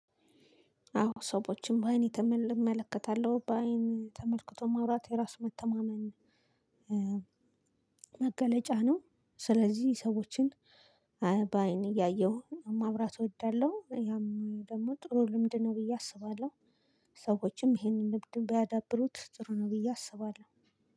አዎ ሰዎችን በአይን ተመ እመለከታለሁ። በአይን ተመልክቶ ማውራት የራስ መተማመን መገለጫ ነው። ስለዚህ ሰዎችን በአይን እያየሁ ማውራት እወዳለሁ ያም ደግሞ ጥሩ ልምድ ነው ብዬ አስባለሁ። ሰዎችም ይሄንን ልምድ ቢያዳብሩት ጥሩ ነው ብዬ አስባለሁ።